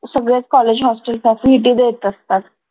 सगळेच college hostel facility देत असतात